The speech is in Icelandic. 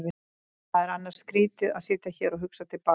Það er annars skrýtið að sitja hér og hugsa til baka.